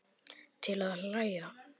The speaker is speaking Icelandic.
til að hlæja